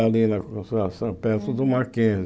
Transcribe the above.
Ali na Consolação, perto do Mackenzie.